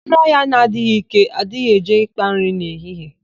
Anụ ọhịa na-adịghị íké, adịghị eje ị́kpā nri n'ehihie.